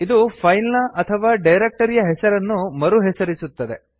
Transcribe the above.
ಇದು ಫೈಲ್ ನ ಅಥವಾ ಡೈರಕ್ಟರಿಯ ಹೆಸರನ್ನು ಮರುಹೆಸರಿಸುತ್ತದೆ